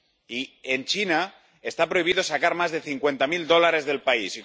Y en China está prohibido sacar más de cincuenta mil dólares del país.